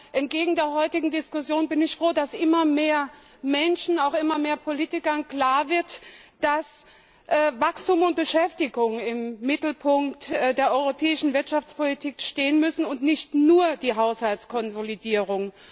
Aber entgegen der heutigen Diskussion bin ich froh, dass immer mehr Menschen, auch immer mehr Politikern, klar wird, dass Wachstum und Beschäftigung im Mittelpunkt der europäischen Wirtschaftspolitik stehen müssen, und nicht nur die Haushaltskonsolidierung.